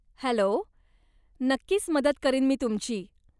Hello, नक्कीच मदत करीन मी तुमची.